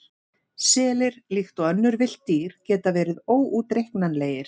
Selir, líkt og önnur villt dýr, geta verið óútreiknanlegir.